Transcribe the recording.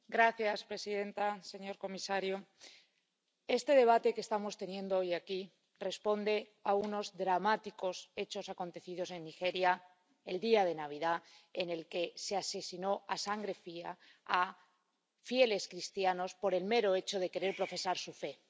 Señora presidenta, señor comisario, este debate que estamos teniendo hoy aquí responde a unos dramáticos hechos acontecidos en Nigeria, el día de Navidad, en el que se asesinó a sangre fría a fieles cristianos por el mero hecho de querer profesar su fe.